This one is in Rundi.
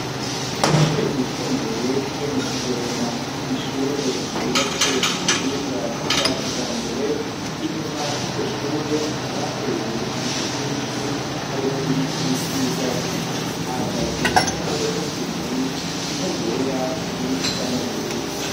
Ishure ryisumbuye ryo mu kigwena n'ishure ryubatse ku buhinga bwa kijambere inyuma y'iryo shure akaba ateye ibiti byinshi harimo n'ibiti vy'ibigazi hahagaze n'imodoka zibiri imwe yera iyindi isa n'ubururu.